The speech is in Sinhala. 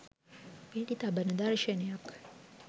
වෙඩි තබන දර්ශණයක්.